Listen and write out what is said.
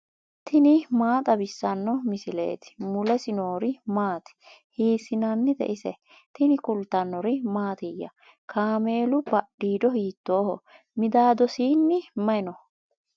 tini maa xawissanno misileeti ? mulese noori maati ? hiissinannite ise ? tini kultannori mattiya? Kaammelu badhiido hiittoho? Midaadosinni mayi noo?